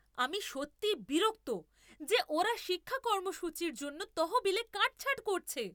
আমি সত্যিই বিরক্ত যে ওরা শিক্ষা কর্মসূচির জন্য তহবিলে কাটছাঁট করছে।